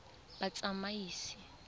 batsamaisi